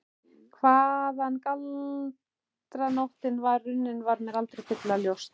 Hvaðan galdraóttinn var runninn var mér aldrei fyllilega ljóst.